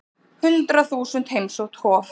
Hundrað þúsund heimsótt Hof